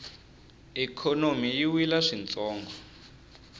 ikhonomi yi wile swintsongo